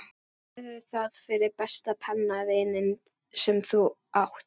Gerðu það fyrir besta pennavininn sem þú átt.